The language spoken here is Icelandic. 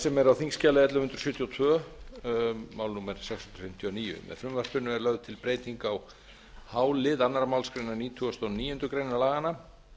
sem er á þingskjali sautján hundruð sjötíu og tvö mál númer sex hundruð fimmtíu og níu er lögð til breyting á h lið annarrar málsgreinar nítugasta og níundu grein laganna